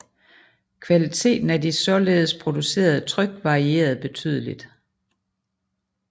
Kvaliteten af de således producerede tryk varierede betydeligt